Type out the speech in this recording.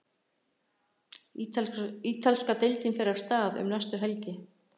Ítalska deildin fer af stað um næstu helgi.